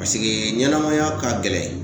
Paseke ɲɛnamaya ka gɛlɛn